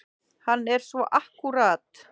Hann er svo akkúrat.